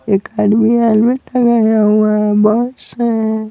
एक आदमी हेलमेट लगाया हुआ है बॉस है।